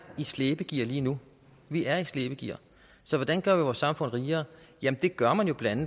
i slæbegear lige nu vi er i slæbegear så hvordan gør vi vores samfund rigere jamen det gør man jo blandt